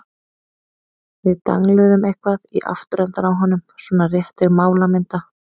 Við dangluðum eitthvað í afturendann á honum- svona rétt til málamynda.